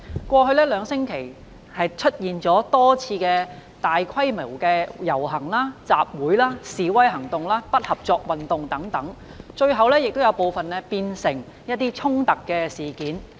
過去兩星期出現了多次大規模遊行、集會、示威行動、不合作運動等，部分最後演變成衝突事件。